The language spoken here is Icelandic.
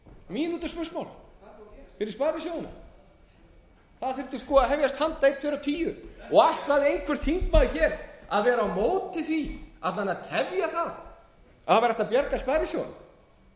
það þyrfti að hefjast handa einn tveir og tíu og ætlaði einhver þingmaður að vera á móti því ætlaði hann að tefja það að hægt væri að bjarga